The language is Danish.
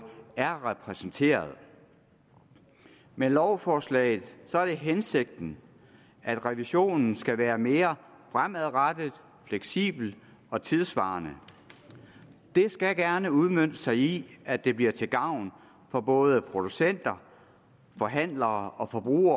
er repræsenteret med lovforslaget er det hensigten at revisionen skal være mere fremadrettet fleksibel og tidssvarende det skal gerne udmønte sig i at det bliver til gavn for både producenterne forhandlerne og forbrugerne